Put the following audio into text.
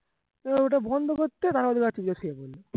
ওটা বন্ধ করতে